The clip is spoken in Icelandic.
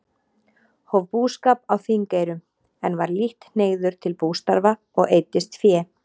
Hóf búskap á Þingeyrum, en var lítt hneigður til bústarfa og eyddist fé.